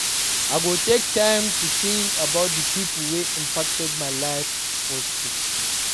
I go take time to think about the pipo wey impacted my life positively.